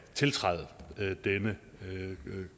tiltræde denne